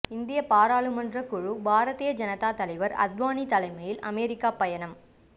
இந்திய பாராளுமன்ற குழு பாரதீய ஜனதா தலைவர் அத்வானி தலைமையில் அமெரிக்கா பயணம்